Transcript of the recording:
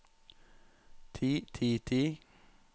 ti ti ti